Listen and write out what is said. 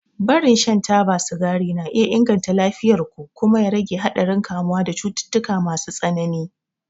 Barin shan taba sigari na iya inganta lafiyar ku kuma ya rage haɗarin kamuwa da cututtuka masu tsanani.